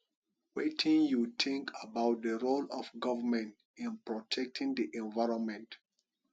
wetin you think about di role of govrnment in protecting di environment